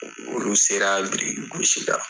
O olu sera biriki gosi la.